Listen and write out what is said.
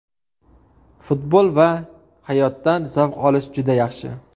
Futbol va hayotdan zavq olish juda yaxshi.